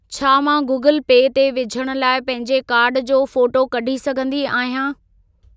छा मां Google Pay ते विझण लाइ पंहिंजे कार्ड जो फोटो कढी सघंदी आहियां?